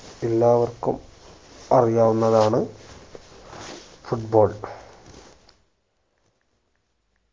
എല്ലാവർക്കും അറിയാവുന്നതാണ് foot ball